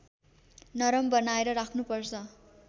नरम बनाएर राख्नुपर्छ